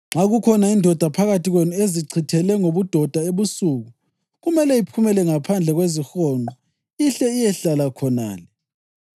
Nxa kukhona indoda phakathi kwenu ezichithele ngobudoda ebusuku, kumele iphumele ngaphandle kwezihonqo ihle iyehlala khonale.